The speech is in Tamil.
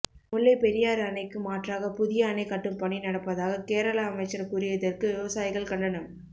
முல்லை பெரியாறு அணைக்கு மாற்றாக புதிய அணை கட்டும் பணி நடப்பதாக கேரள அமைச்சர் கூறியதற்கு விவசாயிகள் கண்டனம்